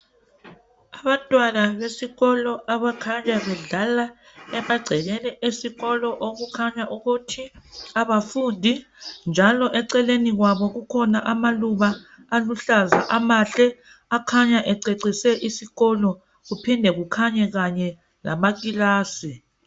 Abantwana besikolo abakhanya bedlala emagcekeni esikolo okukhanya ukuthi abafundi njalo eceleni kwabo kukhona amaluba aluhlaza amahle akhanya ececise isikolo kuphinde kukhanye kanye lamakilasi.